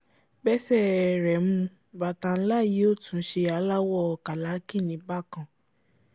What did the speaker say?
bẹ́sẹ̀ ẹ rẹ̀ mu bàtà ńlá yìí ó tún ṣe aláwọ̀ ọ kàlákìnní bákan